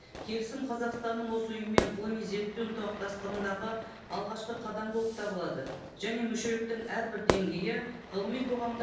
келісім қазақстанның осы ұйымымен ғылыми зерттеу ынтымақтастығындағы алғашқы қадам болып табылады және мүшеліктің әрбір деңгейі ғылыми қоғамда